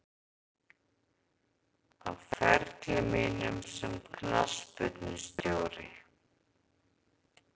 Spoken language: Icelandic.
Á ferli mínum sem knattspyrnustjóri?